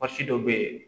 dɔ bɛ yen